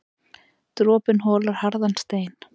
Dropinn holar harðan stein.